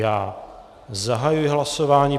Já zahajuji hlasování.